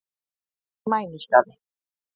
Hvað er mænuskaði?